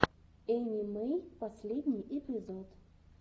энни мэй последний эпизод